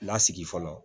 Lasigi fɔlɔ